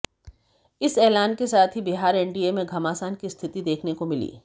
इस एलान के साथ ही बिहार एनडीए में घमासान की स्थिति देखने को मिली